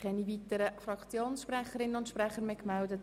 Keine weiteren Fraktionssprechenden haben sich gemeldet.